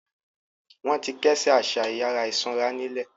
Wọn ti kẹ́sẹ̀ àṣà ìyàrá ìsanra nílẹ̀.